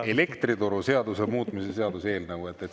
… elektrituruseaduse muutmise seaduse eelnõu.